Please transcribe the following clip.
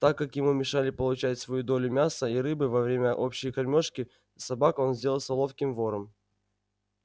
так как ему мешали получать свою долю мяса и рыбы во время общей кормёжки собак он сделался ловким вором